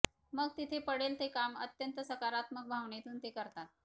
मग तिथे पडेल ते काम अत्यंत सकारात्मक भावनेतून ते करतात